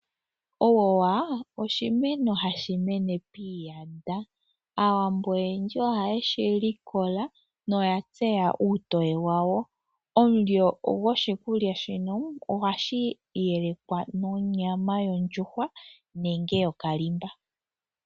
Oowa oshimeno hashi mene piiyanda. Aawambo oyendji ohaye shi likola noya tseya uutoye wawo . Omulyo goshikulya shino ohashi yelekwa nonyama yondjuhwa nenge yokalimba.